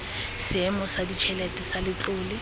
seemo sa ditšhelete sa letlole